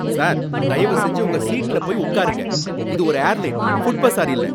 Sir, தயவு செஞ்சு உங்க சீட்ல போய் உட்காருங்க. இது ஒரு ஏர்லைன், ஃபுட்பஸார் இல்ல.